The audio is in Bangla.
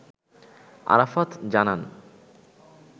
আরাফাত জানান